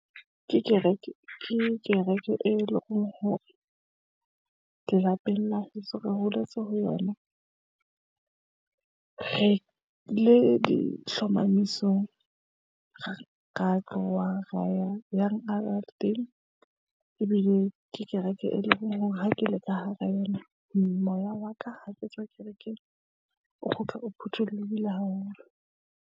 Ke kereke ke kereke, e leng hore, lelapeng la heso re holetse ho yona. Re le dihlomamisong. Re ra tloha ra ya yang ebile ke kereke, e leng hore ha ke le ka hara yona. Moya wa ka ha ke tswa kerekeng o kgutla, o phuthollohile haholo.